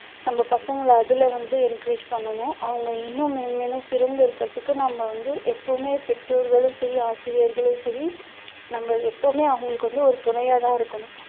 நம்ம பசங்களை அதுல வந்து encourage பண்ணணும் அவங்க இன்னும் மேன்மேலும் சிறந்து இருக்கிறதுக்கு நம்ம வந்து எப்பவுமே பெற்றோர்களும் சரி ஆசிரியர்களும் சரி நம்ம எப்பவுமே அவங்களுக்கு வந்து ஒரு துணையா தான் இருக்கணும்